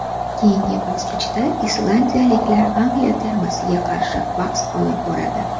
Keyingi bosqichda islandiyaliklar Angliya termasiga qarshi bahs olib boradi.